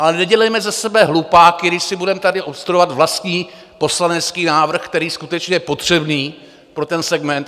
Ale nedělejme ze sebe hlupáky, když si budeme tady obstruovat vlastní poslanecký návrh, který je skutečně potřebný pro ten segment.